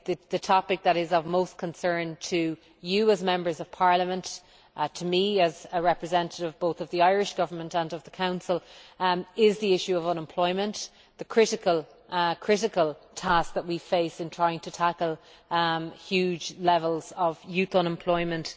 The topic that is of most concern to you as Members of Parliament, to me as a representative both of the Irish Government and of the Council, is the issue of unemployment the critical task that we face in trying to tackle huge levels of youth unemployment.